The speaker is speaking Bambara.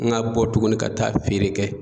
N ga bɔ tuguni ka taa feere kɛ